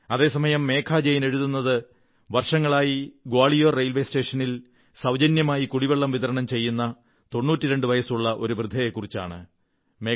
അതേസമയം മേഘാ ജയിൻ എഴുതുന്നത് വർഷങ്ങളായി ഗ്വാളിയോർ റെയിൽവേ സ്റ്റേഷനിൽ സൌജന്യമായി കുടിവെള്ളം വിതരണം ചെയ്യുന്ന 92 വയസ്സുള്ള ഒരു വൃദ്ധയെക്കുറിച്ചാണ്